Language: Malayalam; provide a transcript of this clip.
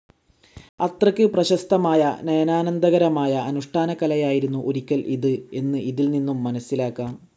അത്രയ്ക്ക് പ്രശസ്തമായ നയനാന്ദകരമായ അനുഷ്ഠാനകലയായിരുന്നു ഒരിക്കൽ ഇത് എന്ന് ഇതിൽ നിന്നും മനസ്സിലാക്കാം.